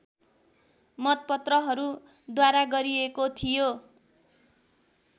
मतपत्रहरूद्वारा गरिएको थियो